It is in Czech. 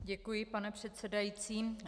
Děkuji, pane předsedající.